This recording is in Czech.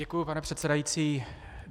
Děkuju, pane předsedající.